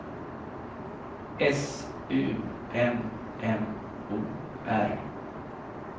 S U M M O R